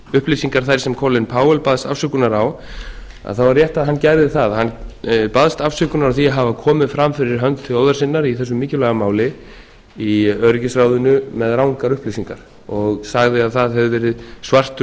upplýsingar þær sem colin powell baðst afsökunar á þá er rétt að hann gerði það hann baðst afsökunar á því að hafa komið fram fyrir hönd þjóðar sinnar í þessu mikilvæga máli í öryggisráðinu með rangar upplýsingar og sagði að það hefði verið svartur